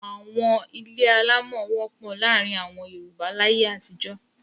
Àwọn ilé alámọ̀ wọ́pọ̀ láàárin àwọn Yorùbá láyé àtijó.